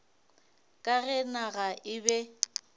ka ge naga e be